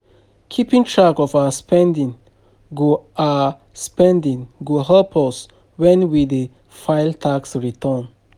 Keeping track of our spending go our spending go help us when we dey file tax returns.